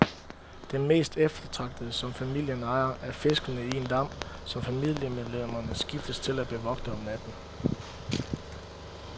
Det mest eftertragtede, som familien ejer, er fiskene i en dam, som familiemedlemmerne skiftes til at bevogte om natten.